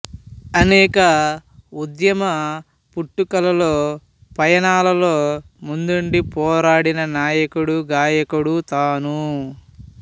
అనేక ఉద్యమ పుట్టుకల్లో పయానాల్లో ముందుండి పోరాడిన నాయకుడు గాయకుడు తాను